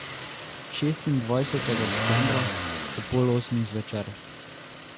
Šestindvajsetega decembra, ob pol osmih zvečer.